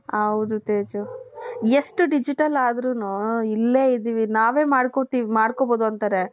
ಹೌದು ತೇಜು ಎಷ್ಟು ಡಿಜಿಟಲ್ ಆದ್ರೂನು ಇಲ್ಲೇ ಇದ್ದೀವಿ ನಾವೇ ಮಾಡ್ಕೋತೀವಿ ಮಾಡ್ಕೊಬಹುದು ಅಂತಾರೆ.